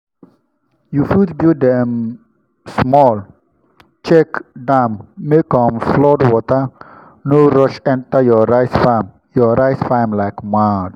you fit build um small check dam make um flood water no rush enter your rice farm your rice farm like mad.